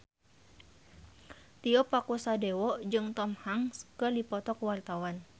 Tio Pakusadewo jeung Tom Hanks keur dipoto ku wartawan